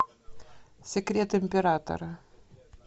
секрет императора